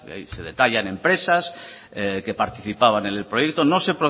ahí se detallan empresas que participaban en el proyecto no se